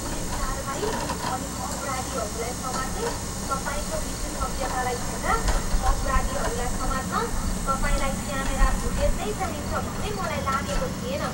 Police कारवाही अनि अपराधीहरूलाई समात्ने तपाईँको विशेषज्ञतालाई हेर्दा अपराधीहरूलाई समात्न तपाईँलाई क्यामेरा फुटेज नै चाहिन्छ भन्ने मलाई लागेको थिएन।